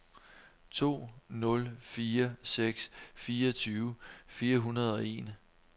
to nul fire seks fireogtyve fire hundrede og en